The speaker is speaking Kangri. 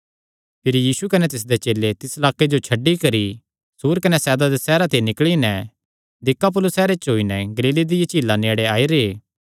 भिरी यीशु कने तिसदे चेले तिस लाक्के जो छड्डी करी सूर कने सैदा दे सैहरां ते निकल़ी नैं दिकापुलिस सैहरे च होई नैं गलीले दिया झीला नेड़े आई रैह्